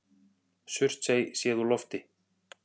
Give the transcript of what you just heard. Surtsey séð úr lofti.